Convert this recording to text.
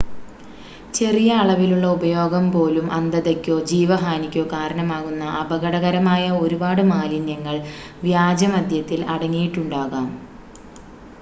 ചെറിയ അളവിലുള്ള ഉപയോഗം പോലും അന്ധതയ്ക്കോ ജീവഹാനിക്കോ കാരണമാകുന്ന അപകടകരമായ ഒരുപാട് മാലിന്യങ്ങൾ വ്യാജമദ്യത്തിൽ അടങ്ങിയിട്ടുണ്ടാകാം